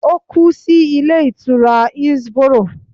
Ó kú sí Ilé Ìtura Hillsboro